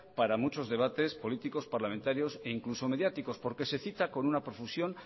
para muchos debates políticos parlamentarios e incluso mediáticos porque se cita con una profusión